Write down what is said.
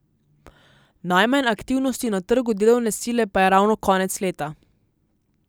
Najmanj aktivnosti na trgu delovne sile pa je ravno konec leta.